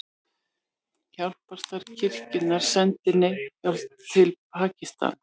Hjálparstarf kirkjunnar sendir neyðarhjálp til Pakistan